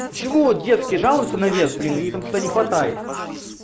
почему девушки жалуются навес блины им там всегда не хватает